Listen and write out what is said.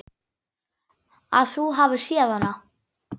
Að þú hafir séð hana?